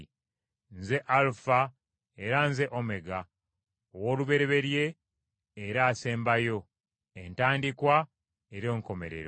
Nze Alufa era nze Omega, Owoolubereberye era Asembayo, Entandikwa era Enkomerero.